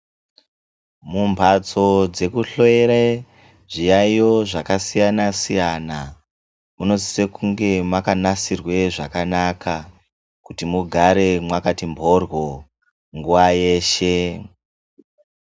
Mumbatso dzekuhloyere zviyaiyo zvakasiyana siyana munosise kunge makanasirwa zvakanaka kuti mugare Makati mboryo nguwa yeshe.